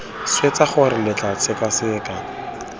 swetsa gore lo tla sekaseka